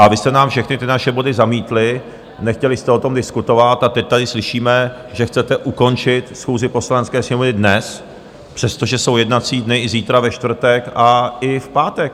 A vy jste nám všechny ty naše body zamítli, nechtěli jste o tom diskutovat, a teď tady slyšíme, že chcete ukončit schůzi Poslanecké sněmovny dnes, přestože jsou jednací dny i zítra ve čtvrtek a i v pátek.